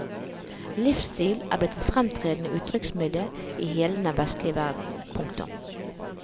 Livsstil er blitt et fremtredende uttrykksmiddel i hele den vestlige verden. punktum